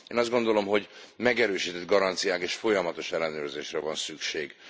Én azt gondolom, hogy megerősített garanciákra és folyamatos ellenőrzésre van szükség.